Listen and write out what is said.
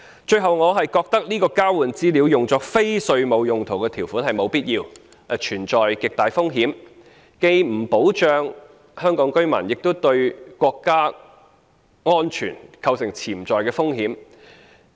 最後，我覺得這項交換資料作非稅務用途的條款是沒有必要，亦存在極大風險的，既不保障香港居民，亦對國家安全構成潛在風險。